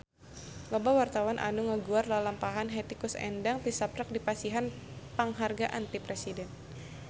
Loba wartawan anu ngaguar lalampahan Hetty Koes Endang tisaprak dipasihan panghargaan ti Presiden